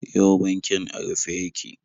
Yau bankin a rufe yake.